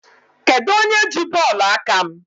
Kedụ onye ji bọọlụ aka m?